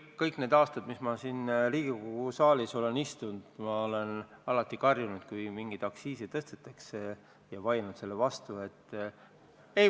Kõik need aastad, mis ma Riigikogu saalis istunud olen, olen ma alati karjunud, kui mingit aktsiisi tõstetakse, ja sellele vastu vaielnud.